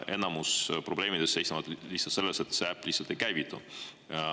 Enamik probleemidest seisnevad selles, et see äpp lihtsalt ei käivitu.